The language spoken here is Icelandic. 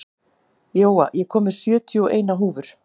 Jóa, ég kom með sjötíu og eina húfur!